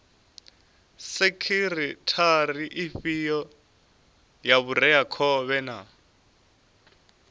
sekhithara ifhio ya vhureakhovhe na